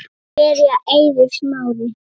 Byrjar Eiður Smári?